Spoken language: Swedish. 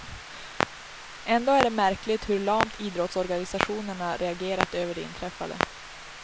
Ändå är det märkligt hur lamt idrottsorganisationerna reagerat över det inträffade.